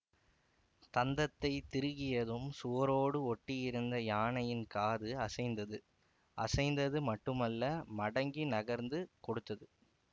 தந்தத்தைத் திருகியதும் சுவரோடு ஒட்டியிருந்த யானையின் காது அசைந்தது அசைந்தது மட்டுமல்ல மடங்கி நகர்ந்து கொடுத்தது